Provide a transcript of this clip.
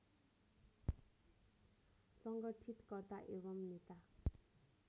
सङ्गठितकर्ता एवं नेता